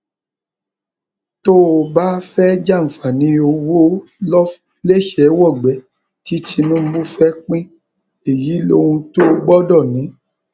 tó o bá fẹẹ jàǹfààní owó lẹsẹẹwọgbé tí tinubu fẹẹ pín èyí lóhun tó o gbọdọ ní